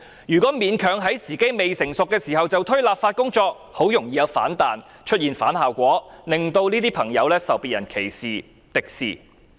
如果勉強在時機未成熟時推行立法工作，很容易有反彈，出現反效果，令這些朋友受別人歧視、敵視。